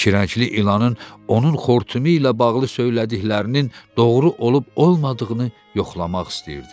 İki rəngli ilanın onun xortumu ilə bağlı söylədiklərinin doğru olub-olmadığını yoxlamaq istəyirdi.